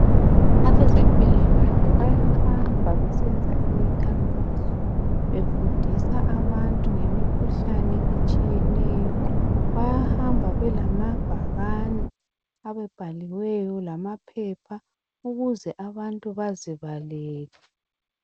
Abezempilakahle bayahamba besenza imikhankaso befundisa abantu ngemikhuhlane etshiyeneyo. Bayahamba belamabhakane abhaliweyo lamapheoha ukuze abantu bazibalele